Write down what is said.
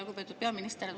Lugupeetud peaminister!